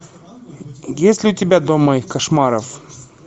есть ли у тебя дом моих кошмаров